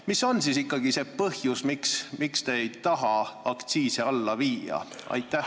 Mis on ikkagi see põhjus, miks te ei taha aktsiise alla viia?